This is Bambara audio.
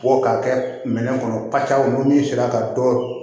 Bɔ k'a kɛ minɛn kɔnɔ pasaw ni min sera ka dɔ